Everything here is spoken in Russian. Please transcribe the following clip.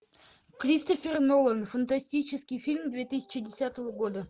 кристофер нолан фантастический фильм две тысячи десятого года